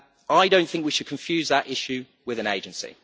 I do not think we should confuse that issue with an agency.